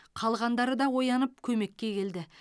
қалғандары да оянып көмекке келді